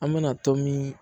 An bɛna tomi